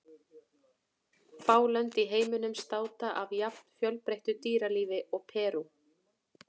Fá lönd í heiminum státa af jafn fjölbreyttu dýralífi og Perú.